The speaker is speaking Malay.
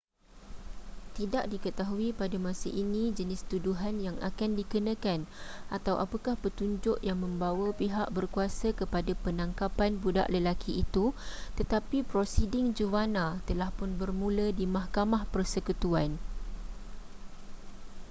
tidak diketahui pada masa ini jenis tuduhan yang akan dikenakan atau apakah petunjuk yang membawa pihak berkuasa kepada penangkapan budak lelaki itu tetapi prosiding juvana telahpun bermula di mahkamah persekutuan